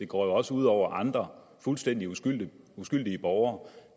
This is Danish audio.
går også ud over andre fuldstændig uskyldige uskyldige borgere